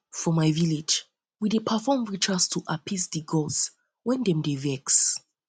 for my village we dey perform rituals to appease di gods wen dem dey vex